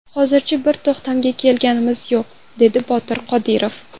Hozircha bir to‘xtamga kelganimiz yo‘q” dedi Botir Qodirov.